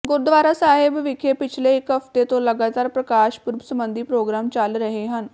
ਗੁਰਦੁਆਰਾ ਸਾਹਿਬ ਵਿਖੇ ਪਿਛਲੇ ਇਕ ਹਫ਼ਤੇ ਤੋਂ ਲਗਾਤਾਰ ਪ੍ਰਕਾਸ਼ ਪੁਰਬ ਸੰਬੰਧੀ ਪ੍ਰੋਗਰਾਮ ਚੱਲ ਰਹੇ ਹਨ